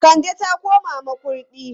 Kande ta koma Makurdi.